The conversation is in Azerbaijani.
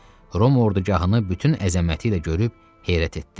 Roma ordugahını bütün əzəməti ilə görüb heyrət etdi.